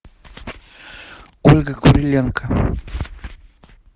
ольга куриленко